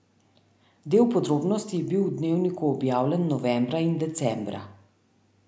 Del podrobnosti je bil v Dnevniku objavljen novembra in decembra.